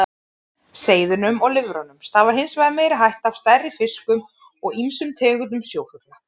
Seiðunum og lirfunum stafar hins vegar meiri hætta af stærri fiskum og ýmsum tegundum sjófugla.